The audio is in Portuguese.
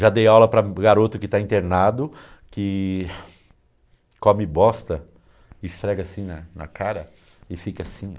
Já dei aula para garoto que está internado, que come bosta, esfrega assim na na cara e fica assim,